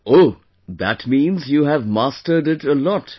Oh... that means you have mastered it a lot